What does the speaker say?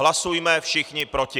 Hlasujme všichni proti.